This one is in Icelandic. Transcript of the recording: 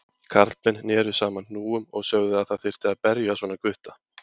Karlmenn neru saman hnúunum og sögðu að það þyrfti að berja svona gutta.